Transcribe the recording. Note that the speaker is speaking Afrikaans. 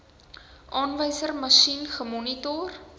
aanwyserma sjien gemonitor